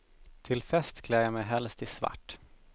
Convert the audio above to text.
Till fest klär jag mig helst i svart.